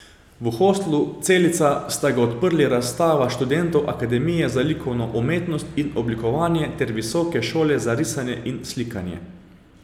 V Hostlu Celica sta ga odprli razstava študentov Akademije za likovno umetnost in oblikovanje ter Visoke šole za risanje in slikanje.